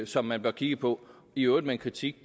som man bør kigge på i øvrigt med en kritik